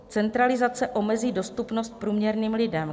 Centralizace omezí dostupnost průměrným lidem.